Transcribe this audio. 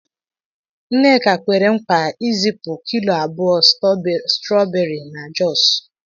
Nneka kwere nkwa izipu kilo abụọ stawberi na Jos.